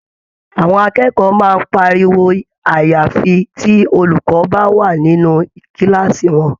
Àwọn akẹ́kọ̀ọ́ máa ń pariwo àyàfi tí olùkọ́ bá wà nínú kíláàsì wọn.